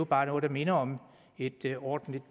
bare minder om et et ordentligt